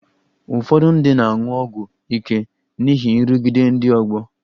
Ụfọdụ ndị na-aṅụ ọgwụ ike n'ihi nrụgide ndị ọgbọ